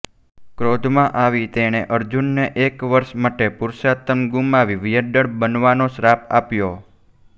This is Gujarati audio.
ક્રોધમાં આવી તેણે અર્જુનને એક વર્ષ માટે પુરુષાતન ગુમાવી વ્યંડળ બનવાનો શ્રાપ આપ્યો